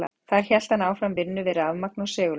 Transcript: Þar hélt hann áfram vinnu við rafmagn og segulmagn.